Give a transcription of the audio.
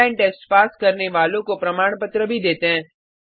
online test pass करने वालों को प्रमाण पत्र भी देते हैं